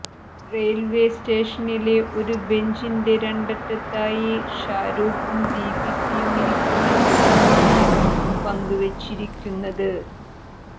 railway സ്റ്റേഷനിലെ ഒരു ബഞ്ചിന്റെ രണ്ടറ്റത്തായി ഷാരൂഖും ദീപികയും ഇരിക്കുന്ന ചിത്രമാണ് പങ്കുവെച്ചിരിക്കുന്നത്